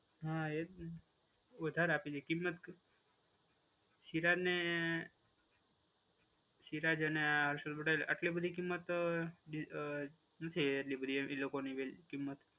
હા એ વધારે આપી છે કિંમત. સિરાજને, સિરાજ અને હર્ષલ પટેલ એટલી બધી કિંમત અ નથી એટલી બધી એ લોકોની કિંમત.